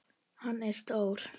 Hann er stór.